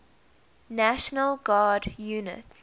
national guard units